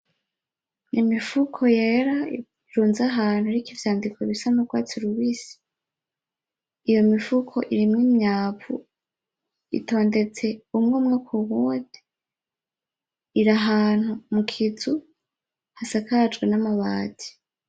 Imifuko yera irunze ahantu iriko ivyandiko bisa n'urwatsi rubisi. Iyo mifuko irimwo imyavu, itondetse umwe umwe kuwundi, iri ahantu mu kizu, hasakajwe n'amabati.